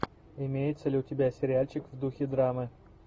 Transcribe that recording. имеется ли у тебя сериальчик в духе драмы